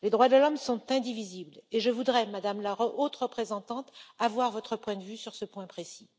Les droits de l'homme sont indivisibles et je voudrais, Madame la Haute représentante, avoir votre point de vue sur ce point précis.